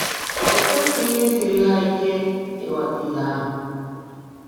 O kwesịghị isiri ha ike ịghọta ihe ahụ.